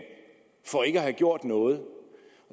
for ikke at have gjort noget